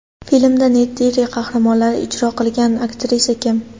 Filmda Neytiri qahramonini ijro qilgan aktrisa kim?